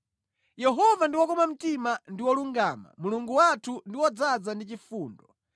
Yehova ndi wokoma mtima ndi wolungama Mulungu wathu ndi wodzaza ndi chifundo.